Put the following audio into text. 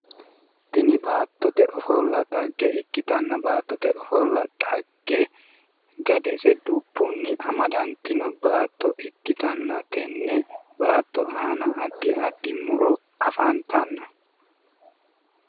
Tini baattote ofolla xagge ikkitanna tini baattote ofolla dhagge gadese dubbunni amadantino baatto ikkitanna tenne baatto aana addi addi muro afantanno